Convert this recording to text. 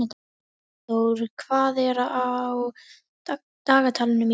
Sigdór, hvað er á dagatalinu mínu í dag?